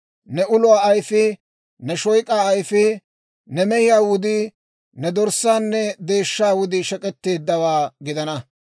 «Ne uluwaa ayfii, ne shoyk'aa ayfii, ne mehiyaa wudii, ne dorssaanne deeshshaa wudii shek'etteeddawaa gidana.